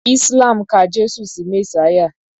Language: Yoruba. Islam ka Jésù sí Mèsáyà